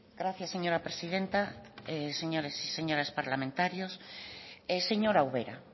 gracias señora presidenta señores y señoras parlamentarios señora ubera